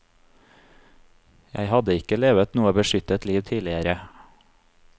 Jeg hadde ikke levet noe beskyttet liv tidligere.